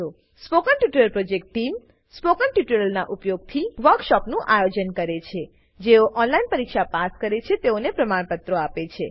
spoken tutorial project team spoken ટ્યુટોરીયલોનાં ઉપયોગથી વર્કશોપોનું આયોજન કરે છેજેઓ ઓનલાઈન પરીક્ષા પાસ કરે છે તેઓને પ્રમાણપત્રો આપે છે